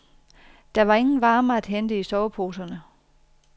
Der var ingen varme at hente i soveposerne.